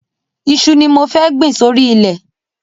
Iṣu ni mo fẹ́ gbìn sórí ilẹ̀.